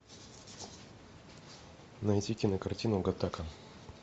найти кинокартину гаттака